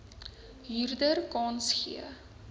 huurder kans gee